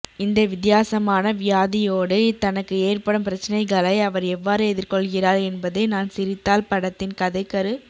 இந்த வித்தியாசமான வியாதியோடு தனக்கு ஏற்படும் பிரச்சனைகளை அவர் எவ்வாறு எதிர்கொள்கிறார் என்பதே நான் சிரித்தால் படத்தின் கதைக்கரு